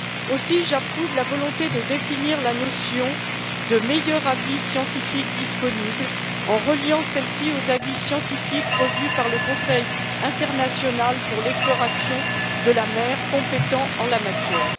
Aussi, j'approuve la volonté de définir la notion de meilleur avis scientifique disponible, en reliant celle ci aux avis scientifiques revus par le Conseil international pour l'exploration de la mer, compétent en la matière.